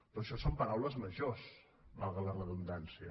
però això són paraules majors valgui la redundància